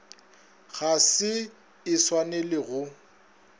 ga se e swanele go